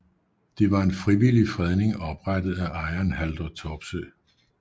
Det var en frivillig fredning oprettet af ejeren Haldor Topsøe